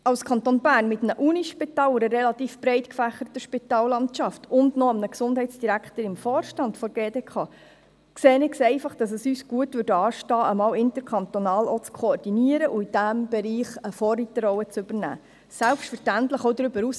Als Kanton Bern mit einem Universitätsspital, mit einer relativ breit gefächerten Spitallandschaft und mit einem Gesundheitsdirektor im Vorstand der GDK, stünde es uns meiner Meinung nach gut an, diesen Bereich auch einmal interkantonal zu koordinieren und dabei eine Vorreiterrolle einzunehmen – selbstverständlich auch darüber hinaus.